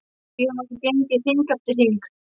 Síðan var gengið hring eftir hring.